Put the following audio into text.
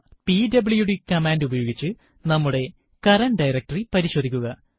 PWD command ഉപയോഗിച്ച് നമ്മുടെ current directory പരിശോധിക്കുക